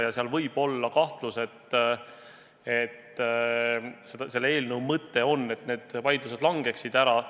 Ja nii võib olla kahtlus, et selle eelnõu mõte on, et need vaidlused langeksid ära.